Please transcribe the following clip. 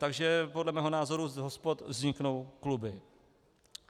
Takže podle mého názoru z hospod vzniknou kluby.